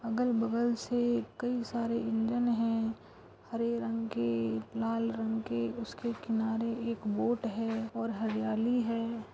अलग बगल से कई सारे इंडियन है हरे रंग के लाल रंग के उसके किनारे एक बोट है और हरियाली है।